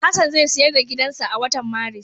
Hassan zai siyar da gidansa a watan Maris.